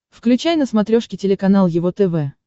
включай на смотрешке телеканал его тв